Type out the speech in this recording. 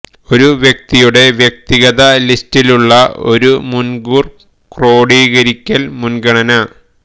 ഒരു വ്യക്തിയുടെ വ്യക്തിഗത ലിസ്റ്റിലുള്ള ഒരു മുൻകൂർ ക്രോഡീകരിക്കൽ മുൻഗണന